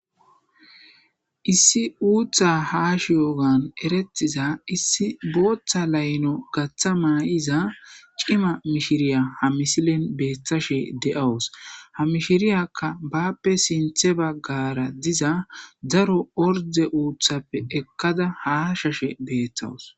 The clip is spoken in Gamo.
Issi uuththa haashiygan eretiyoga issi booththa layilo nu garththa ma'iza cima mishiriya ha misilen beettashe de'awus. Ha mishiriya baappe sinththe baggara diza daro ordde uuththappe ekkada haashashe beettawus.